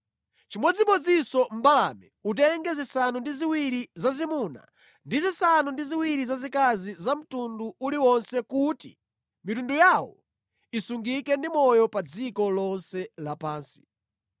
Chimodzimodzinso mbalame, utenge zisanu ndi ziwiri zazimuna ndi zisanu ndi ziwiri zazikazi za mtundu uliwonse kuti mitundu yawo isungike ndi moyo pa dziko lonse lapansi.